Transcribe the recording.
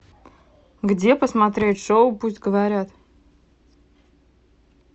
где посмотреть шоу пусть говорят